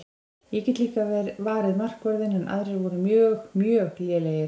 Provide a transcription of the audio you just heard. Ég get líka varið markvörðinn en aðrir voru mjög mjög lélegir.